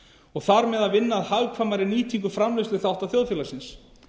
og þar með vinna að hagkvæmri nýtingu framleiðsluþátta þjóðfélagsins